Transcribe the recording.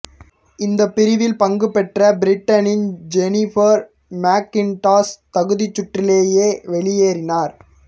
இந்தப் பிரிவில் பங்குபெற்ற பிரிட்டனின் ஜெனிஃபர் மெக்கிண்டாஷ் தகுதிச் சுற்றிலேயே வெளியேறினார்